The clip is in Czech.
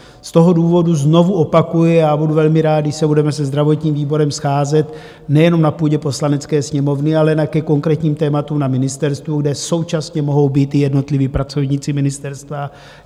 Z toho důvodu znovu opakuji, a budu velmi rád, když se budeme se zdravotním výborem scházet nejenom na půdě Poslanecké sněmovny, ale ke konkrétním tématům na ministerstvu, kde současně mohou být i jednotliví pracovníci ministerstva.